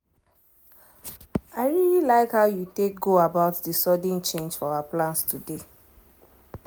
i really like how you take go about the sudden change for our plans today.